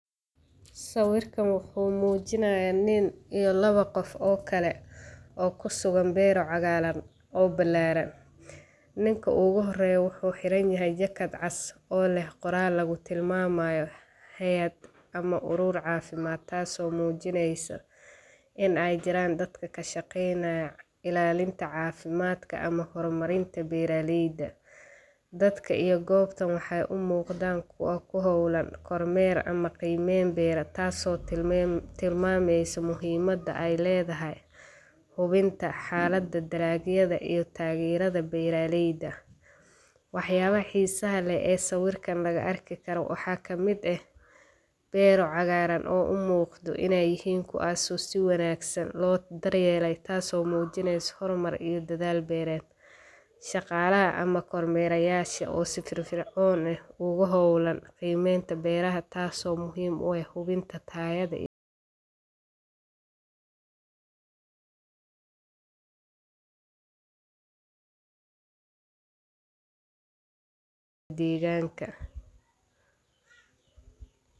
Sawiirkaan wuxuu mujinaaya nin iyo laba qof oo kale, oo kusugan beero cagaaran oo balaaran, ninka oogu hooreyo wuxuu xiran yahay jakad cas oo leh qoraal lagu tilmaamayo haayad ama uruur cafimaad, taas oo muujineysa, ineey jiraan dad kashaqeeynaya ilaalinta cafimaadka ama hor marinta beeraleyda, dadka iyo goobtan waxeey umuuqdaan kuwa kuhoolan kor meer ama dar yeel beera, taas oo tilmaameyso muhiimada aay ledahay hubinta xalada dalaagyada iyo tageerida beeraleyda, wax yaabaha xiisaha leh ee sawiirkaan lagu arki karo waxaa kamid ah, beero cagaaran oo umuuqdo ineey yihiin kuwo si wanaagsan loo dar yeele, taas oo mujineyso hor mar iyo dadaal beereed, shaqaalaha ama kor meerayasha oo si firfircoon oogu hoolan qiimenta beeraha taas oo muhiim u ah hubinta tayada iyo deeganka.